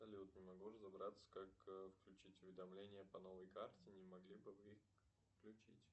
салют не могу разобраться как включить уведомления по новой карте не могли бы вы включить